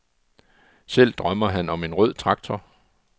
Selv drømmer han om en rød traktor.